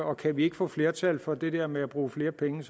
og kan vi ikke få flertal for det der med at bruge flere penge